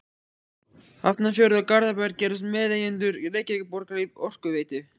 Hafnarfjörður og Garðabær gerðust meðeigendur Reykjavíkurborgar í Orkuveitu